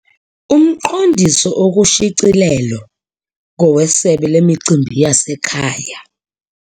Umqondiso okushicilelo ngowesebe lemicimbi yasekhaya.